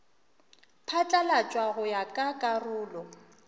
phatlalatšwa go ya ka karolo